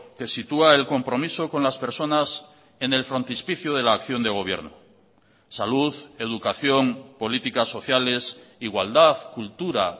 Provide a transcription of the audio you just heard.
que sitúa el compromiso con las personas en el frontispicio de la acción de gobierno salud educación políticas sociales igualdad cultura